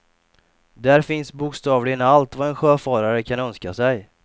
Där finns bokstavligen allt vad en sjöfarare kan önska sig.